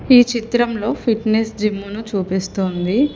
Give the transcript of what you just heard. ఈ చిత్రంలో ఫిట్నెస్ జిమ్మును చూపిస్తోంది.